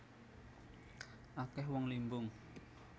Akeh wong limbung